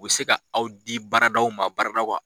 U bɛ se ka aw di baara daw ma baara daw ka